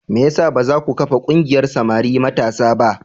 Me ya sa ba za ku kafa ƙungiyar samari matasa ba?